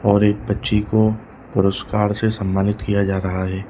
और एक बच्ची को पुरस्कार से सम्मानित किया जा रहा है।